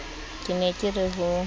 ke ne ke re ho